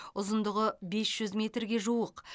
ұзындығы бес жүз метрге жуық